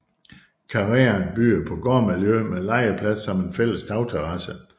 Karreen byder på gårdmiljø med legeplads samt en fælles tagterrasse